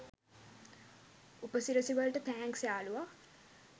උපසිරැසි වලට තෑන්ක්ස් යාළුවා.